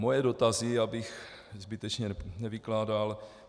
Moje dotazy, abych zbytečně nevykládal.